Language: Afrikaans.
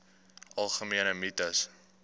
algemene mites